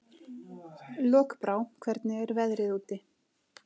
Lokbrá, hvernig er veðrið úti?